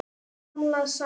Gamla sagan.